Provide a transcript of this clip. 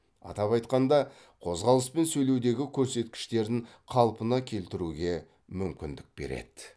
атап айтқанда қозғалыс пен сөйлеудегі көрсеткіштерін қалпына келтіруге мүмкіндік береді